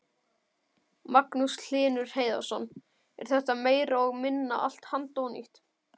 Magnús Hlynur Hreiðarsson: Er þetta meira og minna allt handónýtt?